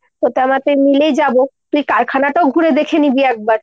তোতে আমাতে মিলেই যাবো, তুই কারখানাটাও ঘুরে দেখে নিবি একবার।